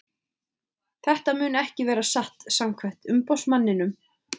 Þetta mun ekki vera satt samkvæmt umboðsmanninum.